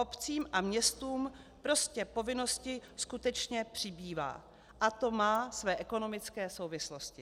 Obcím a městům prostě povinností skutečně přibývá a to má své ekonomické souvislosti.